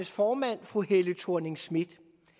formand fru helle thorning schmidt